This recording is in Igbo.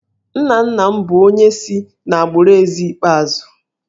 Nna nna m bụ onye si n’agbụrụ Eze ikpeazụ